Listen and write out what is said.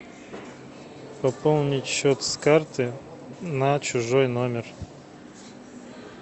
пополнить счет с карты на чужой номер